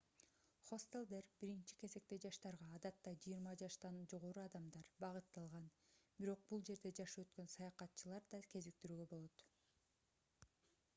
хостелдер биринчи кезекте жаштарга адатта жыйырма жаштан жогору адамдар багытталган бирок бул жерде жашы өткөн саякатчыларды да кезиктирүүгө болот